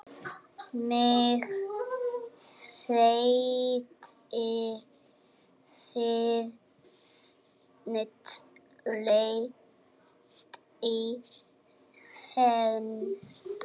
Mig hryllti við tali hans.